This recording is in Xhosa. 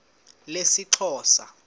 lesixhosa